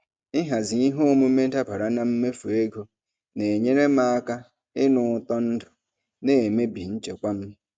Ịhazi ihe omume dabara na mmefu ego na-enyere m aka ịnụ ụtọ ndụ na-emebi nchekwa m.